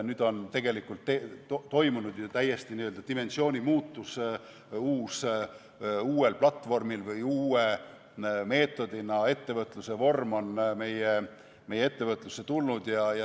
Nüüd on toimunud ju täiesti dimensiooni muutus, uuel platvormil toimiv või uue meetodiga ettevõtlusvorm on meie ettevõtlusesse tulnud.